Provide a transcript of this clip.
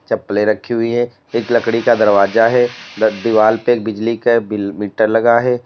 चप्पलें रखी हुई हैं एक लकड़ी का दरवाजा है द दीवाल पे एक बिजली का बिल मीटर लगा है।